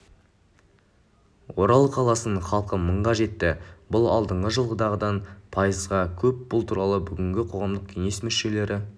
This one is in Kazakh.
орал қаласының халқы мыңға жетті бұл алдыңғы жылғыдан пайызға көп бұл туралы бүгін қоғамдық кеңес мүшелері